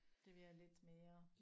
Det bliver lidt mere